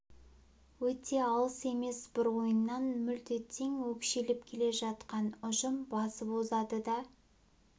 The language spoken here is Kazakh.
өте алыс емес бір ойыннан мүлт кетсең өкшелеп келе жатқан ұжым басып озады да